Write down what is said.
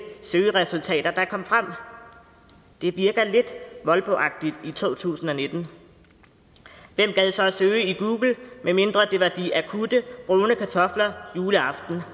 søgeresultater der kom frem det virker lidt molboagtigt i to tusind og nitten hvem gad så søge i google medmindre det var de akutte brune kartofler juleaften